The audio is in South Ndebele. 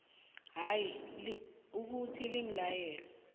hayi ukuthi limlayelo